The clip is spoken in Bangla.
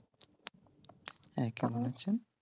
হ্যাঁ কেমন আছেন?